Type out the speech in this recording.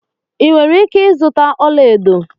Ị nwere ike ịzụta ọlaedo